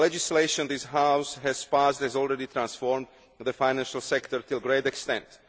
The legislation this House has passed has already transformed the financial sector to a great extent.